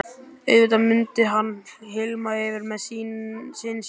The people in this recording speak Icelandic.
Auðvitað mundi hann hylma yfir með syni sínum.